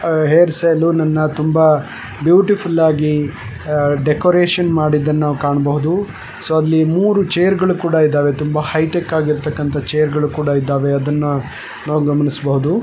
Hair salon ಅಣ್ಣ ತುಂಬ beautiful ಆಗಿ ಡೆಕೊರತೆ ಮಾಡಿರೋದನ್ನ ನಾವು ಕಾಣಬಹುದು ಸೊ ಅಲ್ಲಿ ಮುರು ಚೇರ್ಗಳು ಇದಾವೆ ಅವು ತುಂಬ ಹೈಟೆಕ್ ಆಗಿ ಇದಾವೆ ಅದನ್ನ ನಾವು ಗಮನಿಸಬಹುದು.